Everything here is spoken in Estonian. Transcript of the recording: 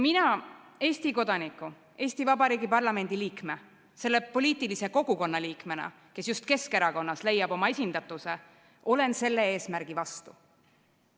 Mina Eesti kodanikuna, Eesti Vabariigi parlamendi liikmena, selle poliitilise kogukonna liikmena, kes just Keskerakonnas leiab oma esindatuse, olen selle eesmärgi vastu.